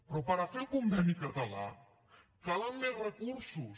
però per a fer el conveni català calen més recursos